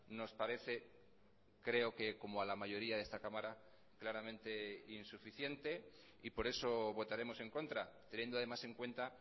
nos parece creo que como a la mayoría de esta cámara claramente insuficiente y por eso votaremos en contra teniendo además en cuenta